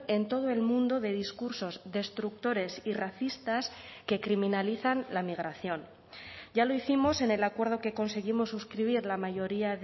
en todo el mundo de discursos destructores y racistas que criminalizan la migración ya lo hicimos en el acuerdo que conseguimos suscribir la mayoría